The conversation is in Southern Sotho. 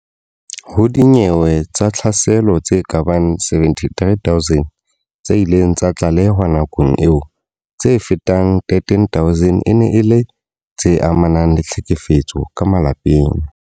Ho dinyewe tsa tlhaselo tse kabang 73 000 tse ileng tsa tlalehwa nakong eo, tse fetang 13000 e ne e le tse amanang le tlhekefetso ya ka malapeng.